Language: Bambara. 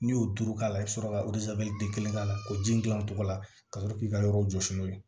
N'i y'o duuru k'a la i bi sɔrɔ ka den kelen k'a la k'o ji gilan o cogo la ka sɔrɔ k'i ka yɔrɔ jɔsi n'o ye